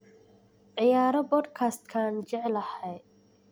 ciyaaro podcast-ka aan jeclahay